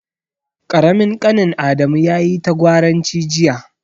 Ƙaramin ƙanin Adamu yayi ta gwaranci jiya.